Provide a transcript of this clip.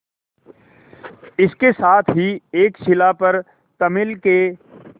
इसके साथ ही एक शिला पर तमिल के